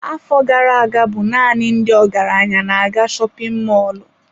Afọ gara aga bụ naanị ndị ọgaranya na-aga shopin mọlụ.